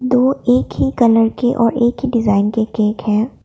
दो एक ही कलर के और एक ही डिजाइन के केक है।